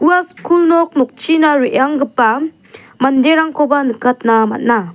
ua skul nok nokchina re·anggipa manderangkoba nikatna man·a.